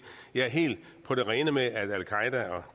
jeg er helt på det rene med at al qaeda og